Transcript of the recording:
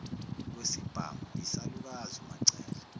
kwesibhamu yisalukazi umacele